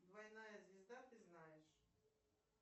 двойная звезда ты знаешь